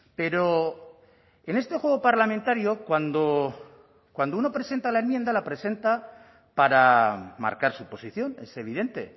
pero en este juego parlamentario cuando cuando uno presenta la enmienda la presenta para marcar su posición es evidente